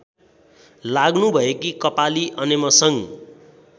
लाग्नुभएकी कपाली अनेमसङ्घ